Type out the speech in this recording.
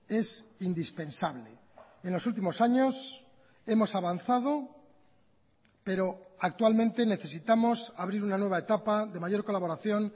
es indispensable en los últimos años hemos avanzado pero actualmente necesitamos abrir una nueva etapa de mayor colaboración